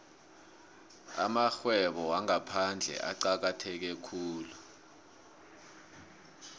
amarhwebo wangaphandle acakatheke khulu